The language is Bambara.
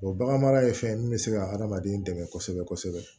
bagan mara ye fɛn ye min bɛ se ka adamaden dɛmɛ kosɛbɛ kosɛbɛ